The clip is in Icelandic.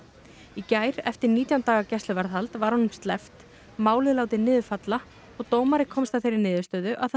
í gær eftir nítján daga gæsluvarðhald var honum sleppt málið látið niður falla og dómari komst að þeirri niðurstöðu að